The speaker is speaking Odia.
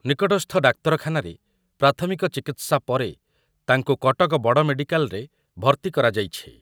। ନିକଟସ୍ଥ ଡାକ୍ତରଖାନାରେ ପ୍ରାଥମିକ ଚିକିତ୍ସା ପରେତାଙ୍କୁ କଟକ ବଡମେଡିକାଲରେ ଭର୍ତ୍ତି କରାଯାଇଛି।